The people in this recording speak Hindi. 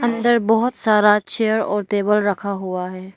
अंदर बहुत सारा चेयर और तेबल रखा हुआ है।